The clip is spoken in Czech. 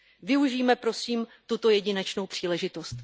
Využijme, prosím, tuto jedinečnou příležitost.